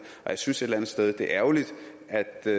og jeg synes et eller andet sted at det er ærgerligt at